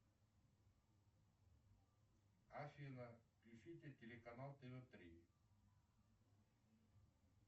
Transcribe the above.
афина включите телеканал тв три